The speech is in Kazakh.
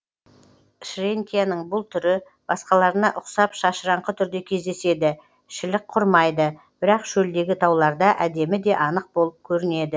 шренкияның бұл түрі басқаларына ұқсап шашыраңқы түрде кездеседі шілік құрмайды бірақ шөлдегі тауларда әдемі де анық болып көрінеді